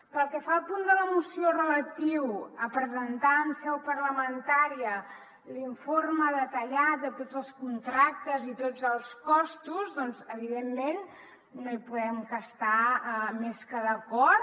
pel que fa al punt de la moció relatiu a presentar en seu parlamentària l’informe detallat de tots els contractes i tots els costos doncs evidentment no hi podem estar més que d’acord